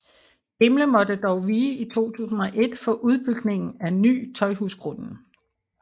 Gimle måtte dog vige i 2001 for udbygningen af Ny Tøjhusgrunden